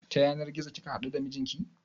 Ta yanar gizo kika haɗu da mijinki?